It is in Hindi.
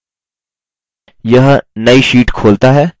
यह नई sheet खोलता है